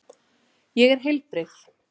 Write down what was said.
Ég er heilbrigð.